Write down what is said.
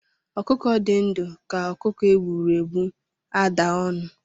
Ọkụkọ dị ndụ ka ọkụkọ e gbụrụ egbu ada ọnụ